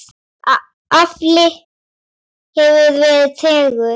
Afli hefur verið tregur.